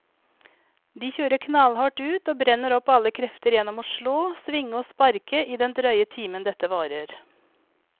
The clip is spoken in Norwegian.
De kjører knallhardt ut og brenner opp alle krefter gjennom å slå, svinge og sparke i den drøye timen dette varer.